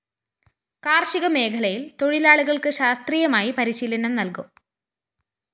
കാര്‍ഷിക മേഖലയില്‍ തൊഴിലാളികള്‍ക്ക് ശാസ്ത്രീയമായി പരിശീലനം നല്‍കും